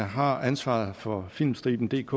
har ansvaret for filmstribendk